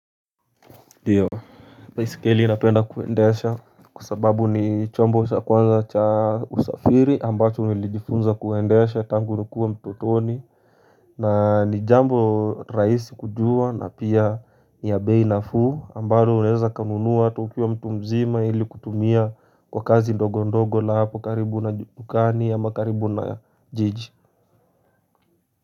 Ndio, baiskeli napenda kuendesha kwa sababu ni chombo cha kwanza cha usafiri ambacho nilijifunza kuendesha tangu nikue mtotoni na ni jambo rahisi kujua na pia ni ya bei nafuu ambalo unaeza ukanunuwa tu ukiwa mtu mzima ili kutumia kwa kazi ndogo ndogo la hapo karibu na dukani ama karibu na jiji.